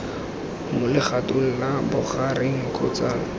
mo legatong la bogareng kgotsa